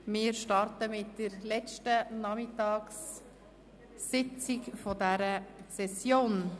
Wir starten mit der letzten Nachmittagssitzung dieser Session.